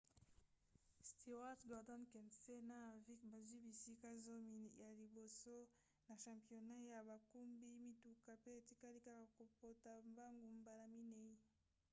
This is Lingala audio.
stewart gordon kenseth na harvick bazwi bisika zomi ya liboso na championnat ya bakumbi mituka pe etikali kaka kopota mbangu mbala minei